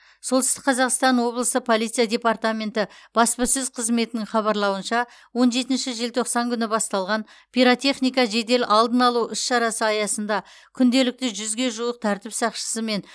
солтүстік қазақстан облысы полиция департаменті баспасөз қызметінің хабарлауынша он жетінші желтоқсан күні басталған пиротехника жедел алдын алу іс шарасы аясында күнделікті жүзге жуық тәртіп сақшысы мен